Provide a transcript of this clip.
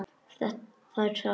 Það er sárt.